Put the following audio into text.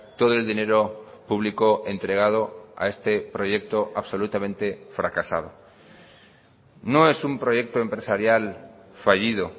todo el dinero público entregado a este proyecto absolutamente fracasado no es un proyecto empresarial fallido